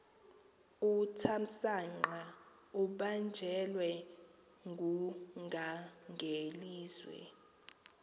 uthamsanqa ubanjelwe ngungangelizwe